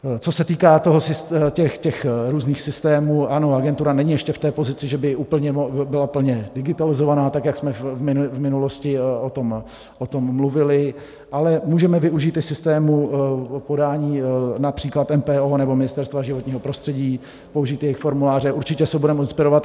Co se týká těch různých systémů, ano, agentura není ještě v té pozici, že by byla plně digitalizována tak, jak jsme v minulosti o tom mluvili, ale můžeme využít i systému podání například MPO nebo Ministerstva životního prostředí, použít jejich formuláře, určitě se budeme inspirovat.